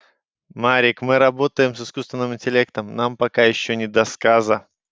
марик мы работаем с искусственным интеллектом нам пока ещё не до сказа